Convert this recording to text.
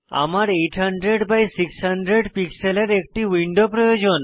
আমার 800 বাই 600 পিক্সেলের একটি উইন্ডো প্রয়োজন